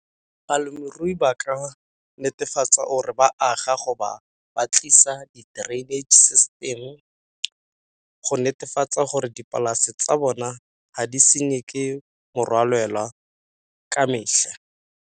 Balemirui ba ka netefatsa or ba aga ba tlisa di system go netefatsa gore dipolase tsa bona ga di senngwe ke morwalela ka metlha.